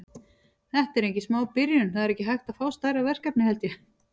Þetta er engin smá byrjun, það er ekki hægt að fá stærra verkefni held ég.